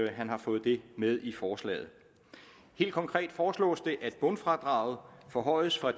at han har fået det med i forslaget helt konkret foreslås det at bundfradraget forhøjes fra